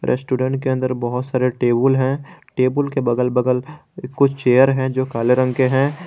Restaurant के अंदर बहुत सारे टेबल हैं टेबल के बगल बगल कुछ चेयर है जो काले रंग के है।